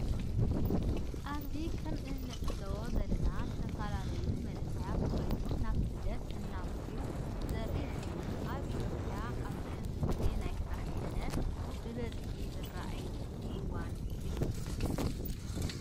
አብዚ ከም እናዕዘቦ ዘለና ዝተፈላለዩ መናእሰይ ኮይኖም ናብ ስደት እናምርሑ ዘሪኢ ኮይኑ አብ ኢትዮጲያ አብዚ ሕዚ ግዜ ናይ ስራሕ ስእነት ብበዚ ዝርእየሉ እዋን እዩ።